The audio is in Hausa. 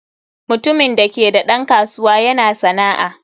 Mutumin da ke da ɗan kasuwa yana sana'a.